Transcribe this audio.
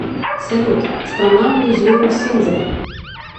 салют страна музеумсинзель